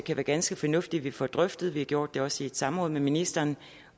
det ganske fornuftigt at vi får drøftet vi gjorde det også i et samråd med ministeren